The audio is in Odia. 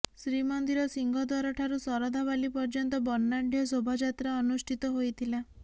ଶ୍ରୀମନ୍ଦିର ସିଂହଦ୍ବାରଠାରୁ ଶରଧାବାଲି ପର୍ଯ୍ୟନ୍ତ ବର୍ଣ୍ଣାଢ୍ୟ ଶୋଭାଯାତ୍ରା ଅନୁଷ୍ଠିତ ହୋଇଥିଲା